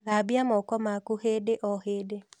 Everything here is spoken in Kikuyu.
Thambia moko maku hĩndĩ o hĩndĩ